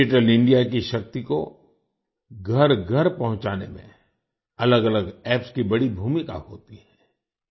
digital India की शक्ति को घरघर पहुँचाने में अलगअलग एप्स की बड़ी भूमिका होती है